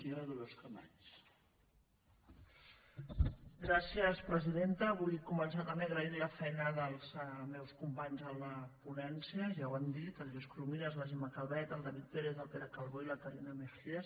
vull començar també agraint la feina dels meus companys en la ponència ja ho han dit el lluís corominas la gemma calvet el david pérez el pere calbó i la carina mejías